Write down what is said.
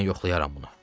Mən yoxlayaram bunu.